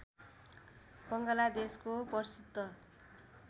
बङ्गलादेशको प्रसिद्ध